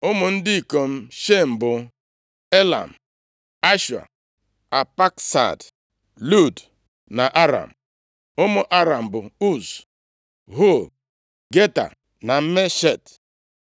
Ụmụ ndị ikom Shem bụ Elam, Ashua, Apakshad, Lud na Aram. Ụmụ Aram bụ Uz, Hul, Geta na Meshek.